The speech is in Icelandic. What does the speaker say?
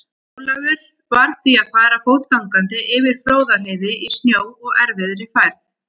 Ólafur varð því að fara fótgangandi yfir Fróðárheiði í snjó og erfiðri færð.